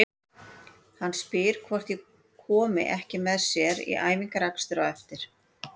Hann spyr hvort ég komi ekki með sér í æfingaakstur á eftir.